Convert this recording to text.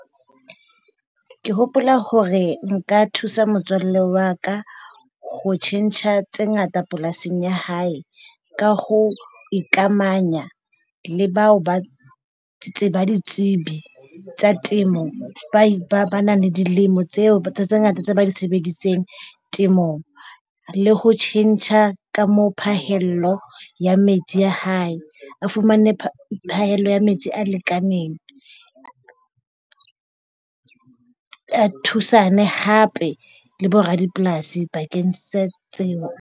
Ke hopola hore nka thusa motswalle wa ka ho tjhentjha tse ngata polasing ya hae. Ka ho ikamahanya le bao ba tseba ditsebi tsa temo ba nang le dilemo tseo tse ngata tse ba di sebeditseng temong le ho tjhentjha ka moo phahello ya metsi ya hae. A fumane phahello ya metsi a lekaneng. A thusane hape le boradipolasi bakeng sa tseo .